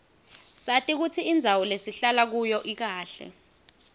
sati kutsi indzawo lesihlala kuyo ikahle